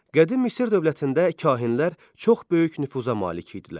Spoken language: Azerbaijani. Qədim Misir dövlətində kahinlər çox böyük nüfuza malik idilər.